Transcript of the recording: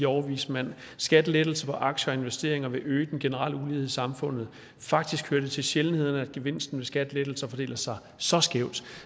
overvismand at skattelettelser på aktier og investeringer vil øge den generelle ulighed i samfundet faktisk hører det til sjældenhederne at gevinsten ved skattelettelser fordeler sig så skævt